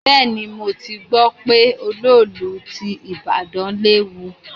Bẹ́ẹ̀ni, mo ti gbọ́ pé olóòlù ti ìbàdàn léwu.